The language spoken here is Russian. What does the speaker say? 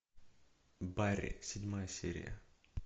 барри седьмая серия